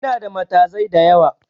Inada matazai da yawa